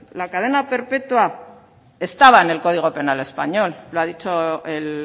la cadena perpetua estaba en el código penal español lo ha dicho el